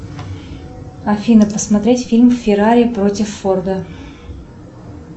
афина посмотреть фильм феррари против форда